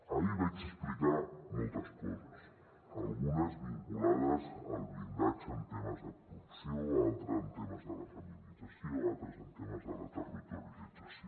ahir vaig explicar moltes coses algunes vinculades al blindatge en temes de corrupció altres en temes de la feminització altres en temes de la territorialització